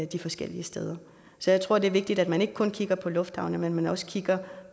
de forskellige steder så jeg tror det er vigtigt at man ikke kun kigger på lufthavne men at man også kigger